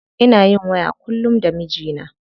Ina yin waya kullum da mijina.